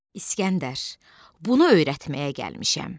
İsgəndər, bunu öyrətməyə gəlmişəm.